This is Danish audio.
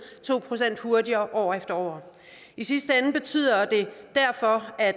to procent hurtigere år efter år i sidste ende betyder det derfor at